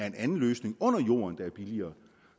en anden løsning under jorden der er billigere